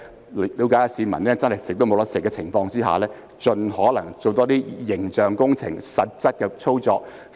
他們要了解市民沒有溫飽的情況，並盡可能多做形象工程、實質的工作。